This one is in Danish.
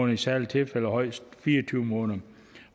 i særlige tilfælde højst fire og tyve måneder